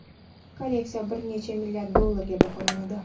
Kolleksiya bir necha milliard dollarga baholanadi.